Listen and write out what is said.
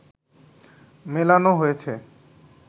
মেলানো হয়েছে